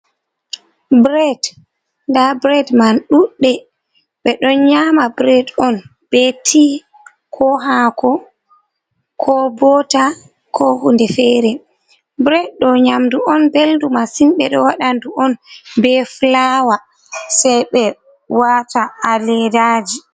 Bred, nda bred man ɗuɗɗe ɓeɗo nyama bred on be tea ko hako ko bota ko hunde fere bred do nyamdu on ɓeldu massin ɓeɗo waɗa nɗu on be fulawa sei ɓe wata ha ledaji.